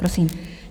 Prosím.